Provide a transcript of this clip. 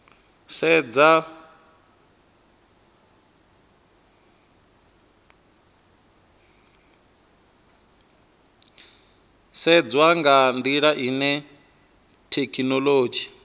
sedzwa nga ndila ine thekhinolodzhi